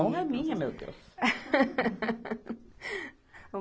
A honra é minha, meu Deus.